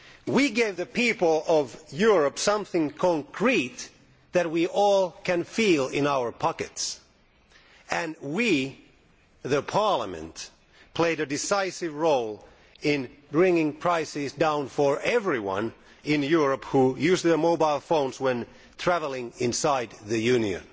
we gave the people of Europe something concrete that we all can feel in our pockets and we this Parliament played a decisive role in bringing prices down for everyone in Europe who uses their mobile phone when travelling inside the Union.